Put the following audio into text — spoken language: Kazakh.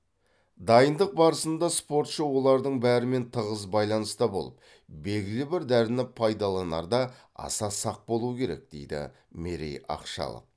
дайындық барысында спортшы олардың бәрімен тығыз байланыста болып белгілі бір дәріні пайдаланарда аса сақ болуы керек дейді мерей ақшалов